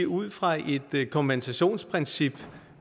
ud fra et kompensationsprincip